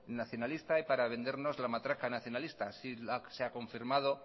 nacionalista y para vendernos la matraca nacionalistas así se ha confirmado